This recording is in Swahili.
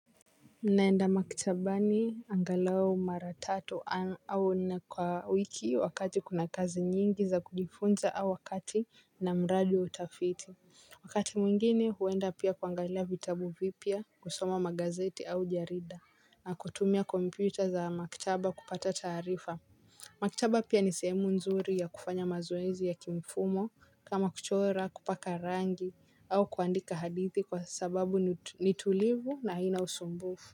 Ninaenda maktabani angalau mara tatu au nne kwa wiki wakati kuna kazi nyingi za kujifunza au wakati na mradi wa utafiti. Wakati mwingine huenda pia kuangalia vitabu vipya, kusoma magazeti au jarida na kutumia kompyuta za maktaba kupata tarifa. Maktaba pia ni sehemu nzuri ya kufanya mazoezi ya kimfumo kama kuchora, kupaka rangi au kuandika hadithi kwa sababu ni tulivu na haina usumbufu.